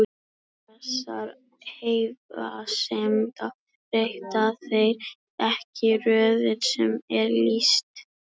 Vegna þessara efasemda breyta þeir ekki röðinni sem hér er lýst.